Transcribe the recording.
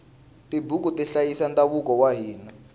tibuku ti hlayisa ndhavuko wa hina